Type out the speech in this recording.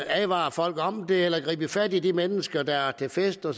advare folk om det eller gribe fat i de mennesker der er til fest og